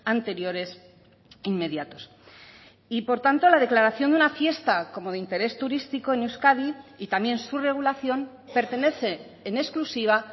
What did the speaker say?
anteriores inmediatos y por tanto la declaración de una fiesta como de interés turístico en euskadi y también su regulación pertenece en exclusiva